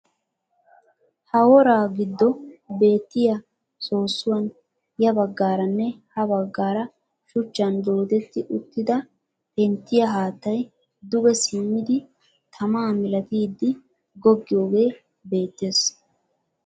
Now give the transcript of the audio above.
Ha woraa giddo beettiya soossuwan ya baggaara nne ha baggaara shuchchan doodetti uttida penttiya haattay duge simmidi tamaa milatiiddi goggiyagee beettees.